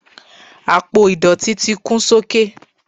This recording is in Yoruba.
apo idọti ti kún sókè